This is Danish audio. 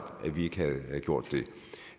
at vi ikke gjorde